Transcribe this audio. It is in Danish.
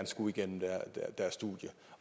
skulle igennem deres studier